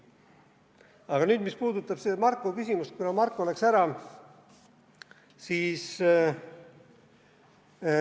Aga nüüd, mis puudutab seda Marko küsimust, kuna Marko läks ära.